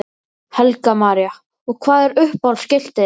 Helga María: Og hvað er uppáhalds skiltið ykkar?